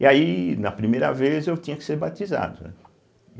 E aí, na primeira vez, eu tinha que ser batizado. né e